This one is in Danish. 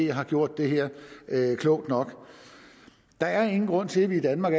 har gjort det her klogt nok der er ingen grund til at vi i danmark